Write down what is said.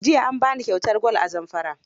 Jiya an ba ni kyautar gwal a Zamfara.